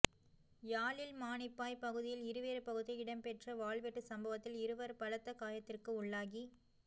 யாழில் மானிப்பாய் பகுதியில் இருவேறு பகுதியில் இடம்பெற்ற வாள்வெட்டு சம்பவத்தில் இருவர் பலத்த காயத்திற்கு உள்ளாகி